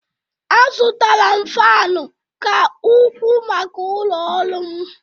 Azụtara m Faanụ ka ukwuu maka ụlọ ọrụ m.